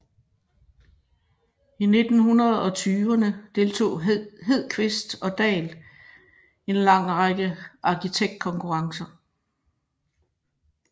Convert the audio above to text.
I 1920erne deltog Hedqvist og Dahl en lang række arkitektkonkurrencer